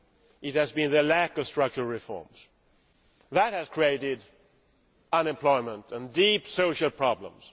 It has been the lack of structural reforms. That has created unemployment and deep social problems.